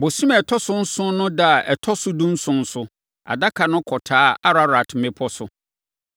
Bosome a ɛtɔ so nson no ɛda a ɛtɔ so dunson so, Adaka no kɔtaa Ararat mmepɔ so.